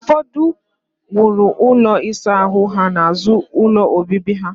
Ufodu ndi nworo ulo isa ahu ha n'azu ulo obibi ha.